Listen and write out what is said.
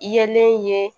I yelen ye